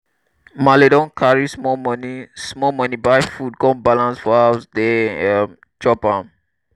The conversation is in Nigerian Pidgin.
maale don carry small moni small moni buy food come balance for house dey um chop am.